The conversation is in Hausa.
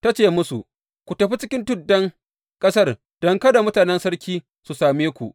Ta ce musu, Ku tafi cikin tuddan ƙasar don kada mutanen sarki su same ku.